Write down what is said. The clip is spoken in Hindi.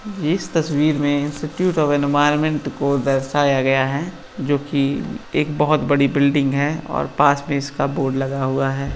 इस तस्वीर में इंस्टीट्यूट ऑफ एनवायरनमेंट को दर्शाया गया है जोकि एक बहुत बड़ी बिल्डिंग है और पास में इसका बोर्ड लगा हुआ है।